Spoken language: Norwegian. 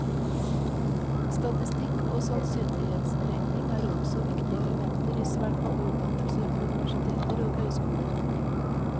Statistikk og sannsynlighetsregning er også viktige elementer i svært mange utdannelser på universiteter og høyskoler.